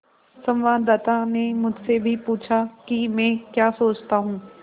संवाददाता ने मुझसे भी पूछा कि मैं क्या सोचता हूँ